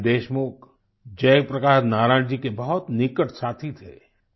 नानाजी देशमुख जय प्रकाश नारायण जी के बहुत निकट साथी थे